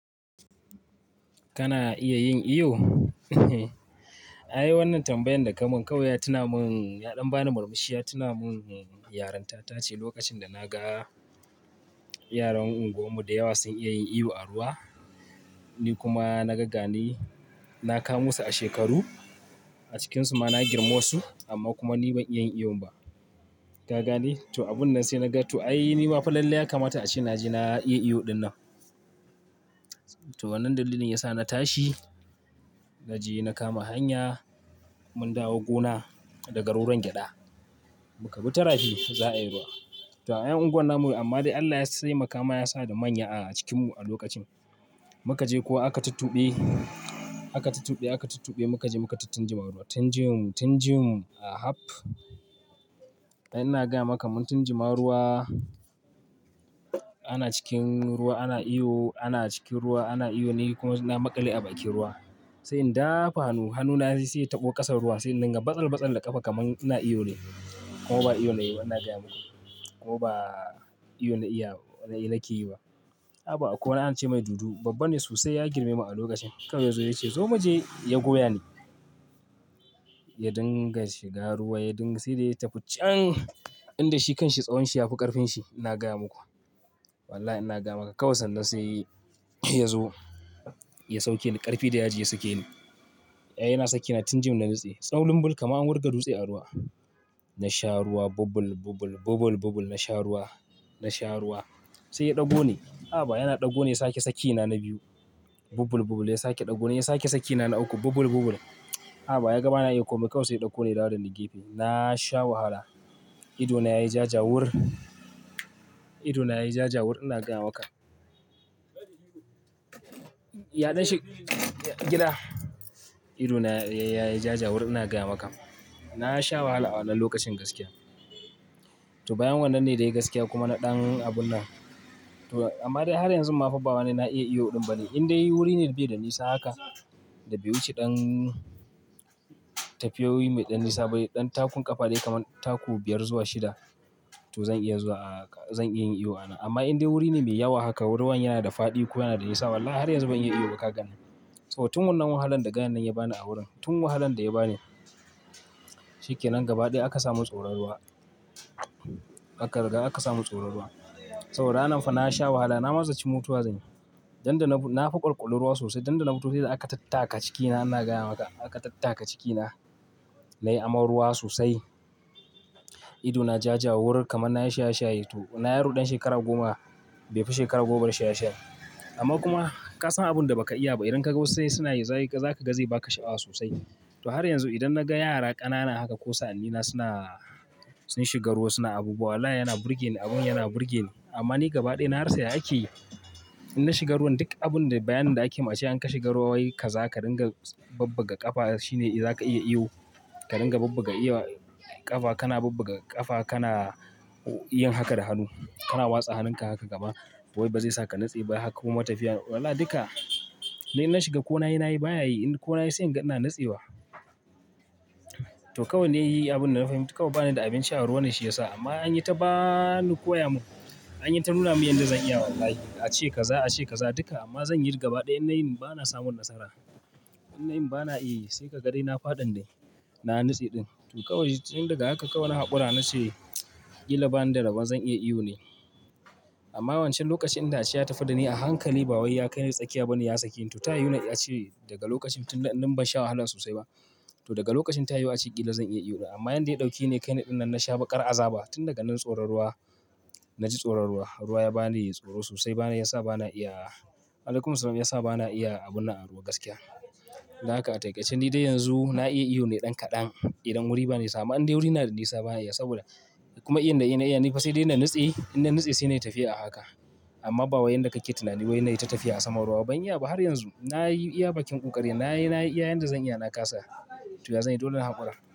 Kana iya yin iyo? Ai wannan tambayan da kamun 'kawai ya tuna mun, ya ɗan bani murmushi ya tuna mun, yarinta ta ce lokacin da na ga yaran unguwarmu da yawa sun iya yin iyo a ruwa. Ni kuma na ga gani, na kamo su a shekaru, a cikinsu ma na girmi wasu amma kuma ni ban iya yin iyo ba. Ka gane? To abun nan sai na ga, to ai ni ma fa lallai ya kamata a ce na je na iya iyo ɗin nan. To wannan dalilin ya sa na tashi, na je na kama hanya, mun dawo gona daga roron gyada, muka bi tarafi za a yi ruwa. To ayan unguwar namu amma dai Allah ya sai makama ya sa da manya a cikinmu a lokacin. Mu ka je kowa aka tuttuɓe, aka tuttuɓe, aka tuttuɓe mu ka je mu ka tattin jima ruwa. Tin jim, tin jim a haf.ai ina gaya maka mun tin jima ruwa, ana cikin ruwa ana iyo, ana cikin ruwa ana iyo, ni kuma na maƙale a bakin ruwa. Sai in dafa hanu, hanuna zai sai ya taɓo ƙasar ruwa sai in dinga batsal batsal da ƙafa kaman ina iyo ne. Kuma ba iyo na yi ba ina gaya muku. Ko ba iyo na iya, nake yi ba. Haba, akwai wani ana ce mai dudu babba ne sosai ya girme mu a lokacin. Kawai ya zo ya ce zo mu je ya goya ni. Ya dinga shiga ruwa ya dinga sai dai ya tafi, can! Inda shi kanshi tsawon shi ya fi ƙarfin shi ina gaya muku. Wallahi ina gaya maka kawai sanda sai ya zo ya sauke ni ƙarfi da ya ji ya sake ni. Ai yana saki na tin jim na nutse. Tsawon limbul kamar an wurga dutse a ruwa. Na sha ruwa bubul-bubul, bubul-bubul na sha ruwa, na sha ruwa. Sai ya ɗago ni. Haba yana ɗago ni ya sake sak ni na biyu. Bubul-bubul ya sake ɗago ni ya sake saki ni na na uku bubul-bubul. Haba ya ga bana iya komai kawai sai ya ɗauko ni ya dawo dani gefe. Na sha wahala. Ido na yayi ja jawur. Ido na yayi ja jawur ina gaya maka. Yaɗan shi, gida. Ido na yayi ja jawur ina gaya maka. Na sha wahala a wannan lokacin gaskiya. To bayan wannan ne dai gaskiya kuma na ɗan abun nan. To amma dai har yanzu ma fa ba wani na iya iyo ɗin bane. In dai wuri ne da bai da nisa haka, da bai wuce ɗan tafiyoyi mai ɗan nisa ba, ɗan takun ƙafa dai kaman taku biyar zuwa shida, to zan iya zuwa, zan iya yin iyo a nan. Amma in dai wuri ne mai yawa haka, ruwan yana da faɗi ko yana da nisa wallahi har yanzu ban iya iyo ba ka ganni. To tun wannan wahalan da gayan nan ya ba ni a wurin, tun wahalan da ya ba ni, shikenan gaba ɗaya aka samun tsoron ruwa. Aka riga aka samun tsoron ruwa. Saboda ranan fa na sha wahala na ma zaci mutuwa zan yi. Dan da na bu, na fa ƙwalƙwali ruwa sosai dan da na futo sai da aka tattaka cikina ina gaya maka. Aka tattaka cikina. Na yi aman ruwa sosai. Ido na ja jawur kamar na yi shaye-shaye. To ina yaro ɗan shekara goma, bai fi shekara goma ba da shaye-shaye. Amma kuma ka san abin da ba ka iya ba idan ka ga wasu sai suna yi za ka ga zai ba ka sha'awa sosai. To har yanzu idan na ga yara ƙanana haka ko sa'annina suna, sun shiga ruwa suna abubuwa wallahi yana burge ni abun yana burge ni. Amma ni gaba ɗaya na rasa ya ake yi, in na shiga ruwan duk abun da bayanin da ake mun ace in ka shiga ruwa wai ka za ka ringa babbaga ƙafa shine za ka iya iyo. Ka ringa bubbuga ga iyo ƙafa, kana bubbaga ƙafa kana yin haka da hannu. Kana watsa hannunka haka gaba to wai ba zai sa ka nutse ba, haka kuma tafiya. Wallahi duka, ni in na shiga ko na yi na yi baya yi in kuma na yi sai in ga ina nutsewa. To kawai na yi abun da na fahimta kawai ba ni da abinci a ruwa ne shi ya sa amma an yi ta ba ni, koya mun. An yi ta nuna mun yanda zan iya wallahi. A ce kaza, a ce kaza duka amma zan yi gaba ɗaya in na yin ba na samun nasara. In na yin ba na iya yi, sai ka ga dai na faɗin dai, na nutse ɗin. To kawai tun daga haka kawai na haƙura na ce ƙila ba ni da rabon zan iya iyo ne. Amma wancan lokacin inda ace ya tafi da ni a hankali ba wai ya kai ni tsakiya bane ya sake ni. To ta yiwu na a ce daga lokacin tunda in ban sha wahala sosai ba. To daga lokacin ta yiwu a ce ƙila zan iya iyo ɗin. Amma yanda ya ɗauke ni ya kai ni ɗin nan na sha ƙar aza ba. Tun daga nan tsoron ruwa, na ji tsoron ruwa. Ruwa ya ba ni tsoro sosai ba na ya sa ba na iya, alaikumussalam, ya sa ba na iya abun nan a ruwa gaskiya. Dan haka a taƙaice ni dai yanzu na iya iyo ne ɗan kaɗan idan wuri ba nisa amma. In dai wuri na da nisa ba na iya saboda kuma iyon da na iya ni fa sai dai na nutse. In na nutse sai na yi tafiya a haka. Amma ba wai yanda kake tunani wai nai ta tafiya a saman ruwa ba, ban iya ba har yanzu. Na yi iya bakin ƙoƙari na, na yi, na iya yanda zan iya na ƙasa. To ya zanyi dole na haƙura.